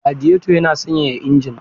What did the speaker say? Radiyeto yana sanyaya injin.